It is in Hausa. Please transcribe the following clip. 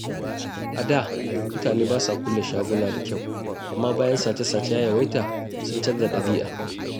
A da, mutane ba sa kulle shaguna da kyau, amma bayan sace-sace ya yawaita, sun canza dabi'a.